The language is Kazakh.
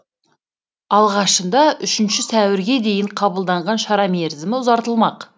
алғашында үшінші сәуірге дейін қабылданған шара мерзімі ұзартылмақ